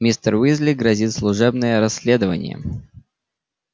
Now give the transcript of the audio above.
мистеру уизли грозит служебное расследование